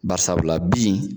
Bari sabula bin